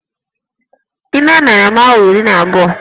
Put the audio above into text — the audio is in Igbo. Ime mere m awa iri na abụọ